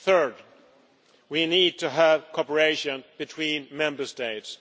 Third, we need to have cooperation between Member States.